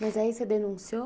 Mas aí você denunciou?